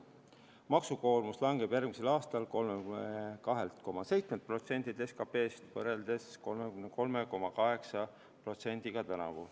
Maksukoormus langeb järgmisel aastal 32,7%-ni SKP-st, tänavu oli see 33,8%.